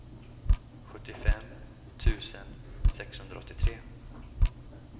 sjuttiofem tusen sexhundraåttiotre